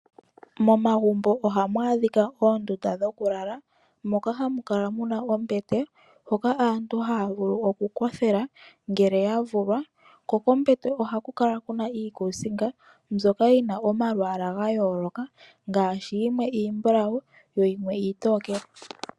Momagumbo ohamu adhika oondunda dhokulala moka hamu kala ombete, hoka aantu haya vulu okukothela ngele yavulwa. Kombete ohaku kala kuna iikusinga mbyoka yina omalwaala gayooloka yimwe iimbulawu yimwe iitokele.